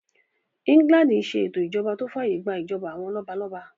England n ṣe ètò ìṣèjọba tó fàyè gbà ìjọba àwọn lọ́balọ́ba